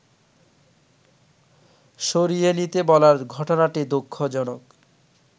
সরিয়ে নিতে বলার ঘটনাটি দুঃখজনক